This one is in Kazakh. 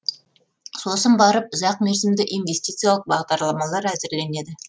сосын барып ұзақмерзімді инвестициялық бағдарламалар әзірленеді